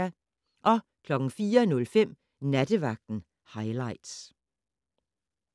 04:05: Nattevagten highlights